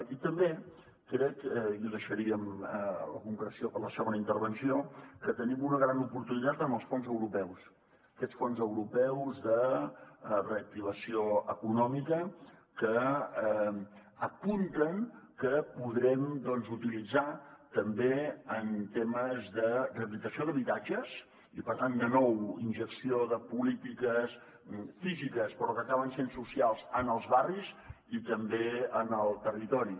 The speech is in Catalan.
i també crec i deixaríem la concreció per a la segona intervenció que tenim una gran oportunitat amb els fons europeus aquests fons europeus de reactivació econòmica que apunten que podrem utilitzar també en temes de rehabilitació d’habitatges i per tant de nou injecció de polítiques físiques però que acaben sent socials en els barris i també en el territori